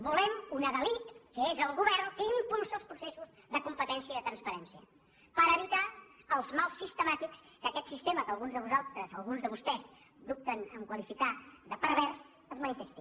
volem un adalid que és el govern que impulsi els processos de competència i de transparència per evitar els mals sistemàtics que aquest sistema que alguns de vosaltres alguns de vostès dubten a qualificar de per·vers manifesti